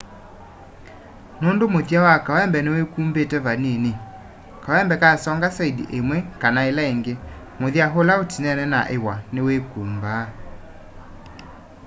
nũndũ mũthya wa kawembe nĩwĩkũmbĩte vanĩnĩ kawembe kasonga saĩndĩ ĩmwe kana ĩla ĩngĩ mũthya ũla ũtĩnene na ĩw'a nĩwĩkũmbaa